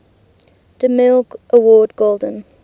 demille award golden